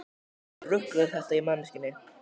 Hvaða rugl er þetta í manneskjunni?